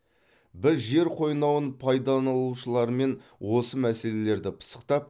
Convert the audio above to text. біз жер қойнауын пайдаланушылармен осы мәселелерді пысықтап